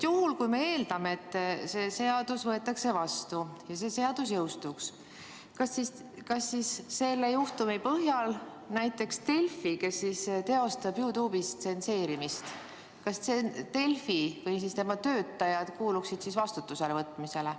Kui see seadus võetaks vastu ja see jõustuks, kas siis selle juhtumi puhul tuleks näiteks Delfi, kes teostab YouTube'is tsenseerimist, või tema töötajad vastutusele võtta?